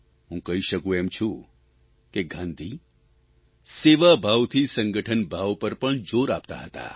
હું કહી શકું એમ છું કે ગાંધી સેવાભાવથી સંગઠનભાવ પર પણ જોર આપતા હતા